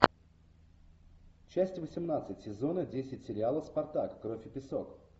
часть восемнадцать сезона десять сериала спартак кровь и песок